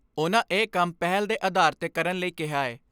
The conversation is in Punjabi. ਉਨ੍ਹਾਂ ਇਹ ਕੰਮ ਪਹਿਲ ਦੇ ਆਧਾਰ 'ਤੇ ਕਰਨ ਲਈ ਕਿਹਾ ਏ।